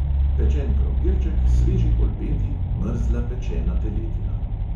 Pečen krompirček, sveži polpeti, mrzla pečena teletina.